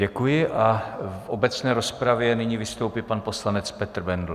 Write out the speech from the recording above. Děkuji a v obecné rozpravě nyní vystoupí pan poslanec Petr Bendl.